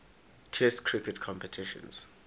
test cricket competitions